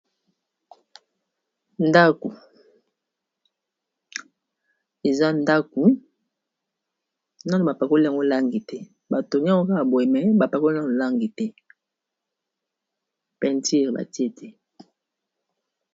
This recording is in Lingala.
ndaku eza ndaku nano bapakoli yango olangi te bato nyoo kaka bwe me bapakoli yango olangi te pentir batie te